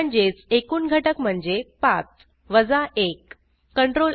म्हणजेच एकूण घटक म्हणजे 5 वजा 1